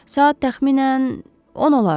Saat təxminən 10 olardı.